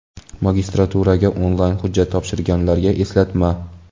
Magistraturaga onlayn hujjat topshirganlarga eslatma.